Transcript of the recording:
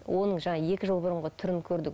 оның жаңағы екі жыл бұрынғы түрін көрдік